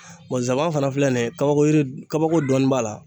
zaban fana filɛ nin ye kabako kabako dɔni b'a la